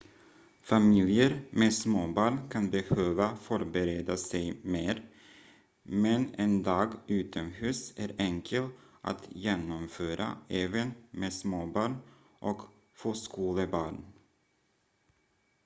familjer med småbarn kan behöva förbereda sig mer men en dag utomhus är enkel att genomföra även med småbarn och förskolebarn